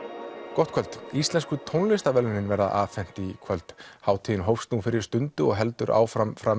gott kvöld íslensku tónlistarverðlaunin verða afhent í kvöld hátíðin hófst nú fyrir stundu og heldur áfram fram